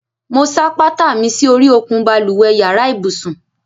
Mo ṣáá pátá mi si ori òkun balùwẹ́ yàrá ibùsùn